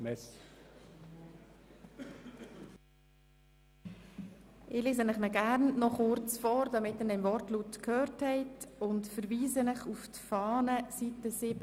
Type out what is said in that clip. Ich lese den Eventualantrag Haas gerne noch vor, damit Sie ihn im Wortlaut gehört haben und verweise auf die Seiten 7 bis 10 in der Fahne.